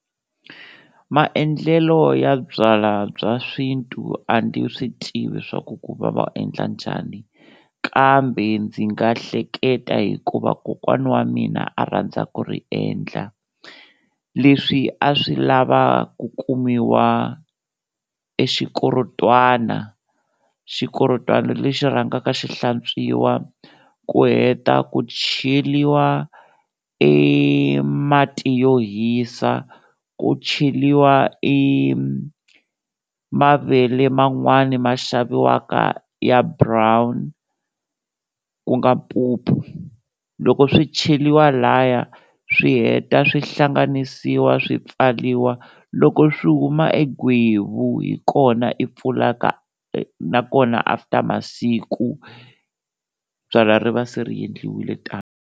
Maendlelo ya byalwa bya swi xintu a ndzi swi tivi swa ku ku va va endla njhani kambe ndzi nga hleketa hikuva kokwana wa mina a rhandza ku ri endla, leswi a swi lava ku kumiwa e xikorotwana, xikorotwana lexi rhangaka xi hlantswiwa ku heta ku cheliwa e mati yo hisa, ku cheliwa i mavele man'wani ma xaviwaka ya brown ku nga mpupu, loko swi cheliwa lhaya swi heta swi hlanganisiwa swi pfaliwa, loko swi huma e gwevu hi kona i pfulaka nakona after masiku byalwa ri va se ri endliwile tano.